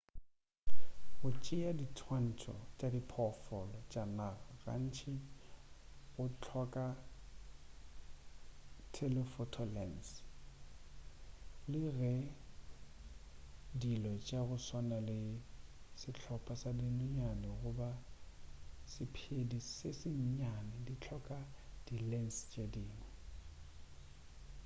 go tšea diswantšho tša diphoofolo tša naga gantši go hloka telephoto lens le ge dilo tša go swana le sehlopa sa dinonyane goba sephedi se se nnyane di hloka di lens tše dingwe